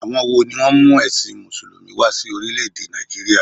Àwon wo ni ó mú èsìn mùsùlùmí wa sí orílé èdè Nàìjíríà?